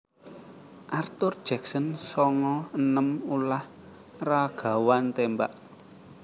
Arthur Jackson songo enem ulah ragawan témbak